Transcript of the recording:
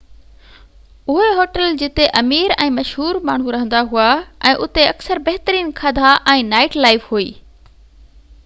اهي هوٽل جتي امير ۽ مشهور ماڻهو رهندا هئا ۽ اتي اڪثر بهترين کاڌا ۽ نائيٽ لائيف هئي